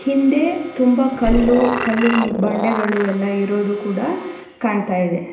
ಹಿಂದೆ ತುಂಬಾ ಕಲ್ಲು ಕಲ್ಲು ಬಂಡೆಗಳು ಎಲ್ಲ ಇರೋದು ಕೂಡ ಕಾಣ್ತಾ ಇದೆ.